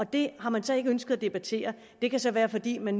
det har man så ikke ønsket at debattere og det kan så være fordi man